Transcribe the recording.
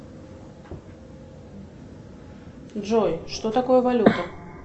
джой что такое валюта